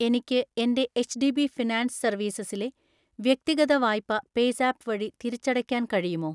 എനിക്ക് എൻ്റെ HDB finance സർവീസസിലെ വ്യക്തിഗത വായ്പ പേയ്‌സാപ്പ് വഴി തിരിച്ചടയ്ക്കാൻ കഴിയുമോ?